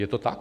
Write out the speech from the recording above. Je to tak?